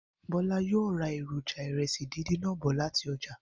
Bó̩lá yóò ra èròjà ìre̩sì díndín náà bò̩ láti o̩jà